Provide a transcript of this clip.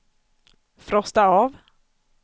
frosta av